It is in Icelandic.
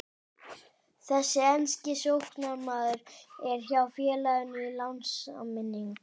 Þessi enski sóknarmaður er hjá félaginu á lánssamningi.